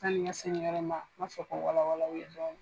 Sani n ka se ni yɔrɔ ma n m'a fɛ ka wala wala aw ye.